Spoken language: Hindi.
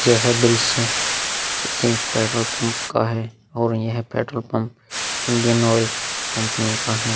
यह दृश्य किसी पेट्रोल पंप का है और यह petrol pump Indian Oil company का है।